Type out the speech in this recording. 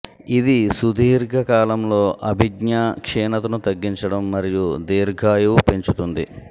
ఇది సుదీర్ఘ కాలంలో అభిజ్ఞా క్షీణతను తగ్గించడం మరియు దీర్ఘాయువు పెంచుతుంది